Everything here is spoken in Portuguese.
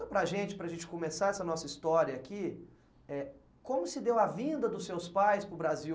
Conta para a gente, para a gente começar essa nossa história aqui, eh, como se deu a vinda dos seus pais para o Brasil?